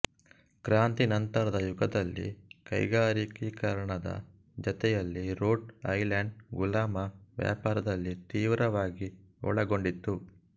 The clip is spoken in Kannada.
ಕ್ರಾಂತಿ ನಂತರದ ಯುಗದಲ್ಲಿ ಕೈಗಾರಿಕೀಕರಣದ ಜತೆಯಲ್ಲಿ ರೋಡ್ ಐಲೆಂಡ್ ಗುಲಾಮ ವ್ಯಾಪಾರದಲ್ಲಿ ತೀವ್ರವಾಗಿ ಒಳಗೊಂಡಿತ್ತು